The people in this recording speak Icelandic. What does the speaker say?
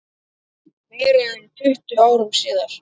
Meira en tuttugu árum síðar.